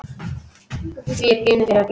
Því er ginið yfir öllu.